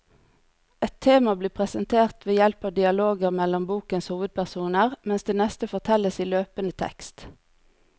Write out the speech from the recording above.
Ett tema blir presentert ved hjelp av dialoger mellom bokens hovedpersoner, mens det neste fortelles i løpende tekst.